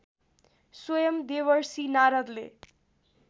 स्वयम् देवर्षि नारदले